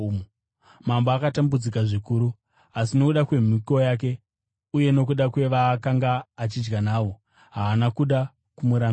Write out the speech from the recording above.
Mambo akatambudzika zvikuru, asi nokuda kwemhiko yake uye nokuda kwevaakanga achidya navo, haana kuda kumurambira.